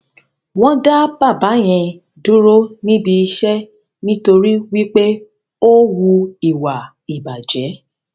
Wọ́n dá bàbá yẹn dúró níbi iṣẹ́ nítorí wí pé ó wu ìwà ìbàjẹ́